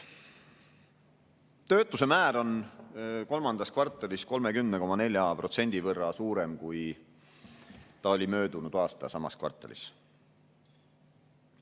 Töötuse määr on kolmandas kvartalis 30,4% suurem, kui see oli möödunud aasta samas kvartalis.